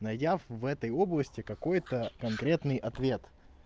найдя в этой области какой-то конкретный ответ